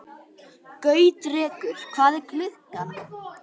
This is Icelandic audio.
Gautrekur, hvað er klukkan?